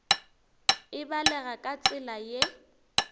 e balega ka tsela ye